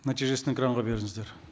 нәтижесін экранға беріңіздер